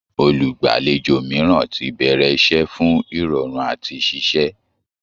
Olùgbàlejò mìíràn ti bẹ̀rẹ̀ iṣẹ́ fún ìrọ̀rùn àti ṣiṣẹ́